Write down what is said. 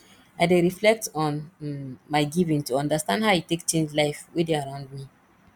i dey reflect on um my giving to understand how e take change life wey dey around me